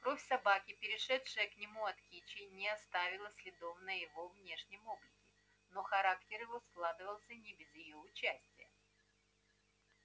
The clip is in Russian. кровь собаки перешедшая к нему от кичи не оставила следов на его внешнем облике но характер его складывался не без её участия